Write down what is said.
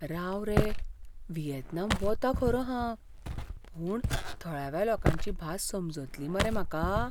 राव रे, व्हिएतनाम वतां खरों हांव, पूण थळाव्या लोकांची भास समजतली मरे म्हाका?